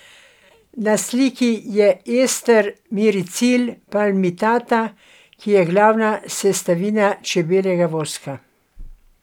Na sliki je ester miricil palmitata, ki je glavna sestavina čebeljega voska.